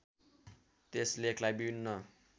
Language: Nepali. त्यस लेखलाई विभिन्न